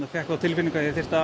fékk þá tilfinningu að ég þyrfti að